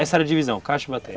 Essa era a divisão, caixa e bateia?